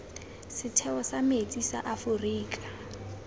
setheo sa metsi sa aforika